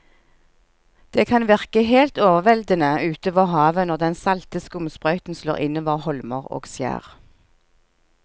Det kan virke helt overveldende ute ved havet når den salte skumsprøyten slår innover holmer og skjær.